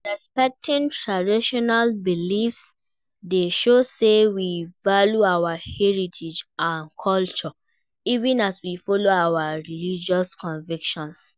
Respecting traditional beliefs dey show say we value our heritage and culture even as we follow our religious convictions.